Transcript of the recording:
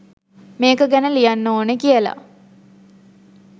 මේක ගැන ලියන්න ඕනේ කියලා